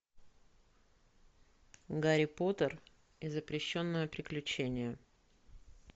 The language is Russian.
гарри поттер и запрещенные приключения